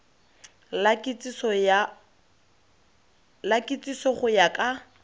la kitsiso go ya ka